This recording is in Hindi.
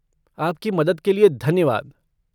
आपकी मदद के लिए धन्यवाद।